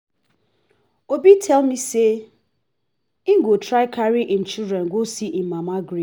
obi tell me say he go try carry im children go see im mama grave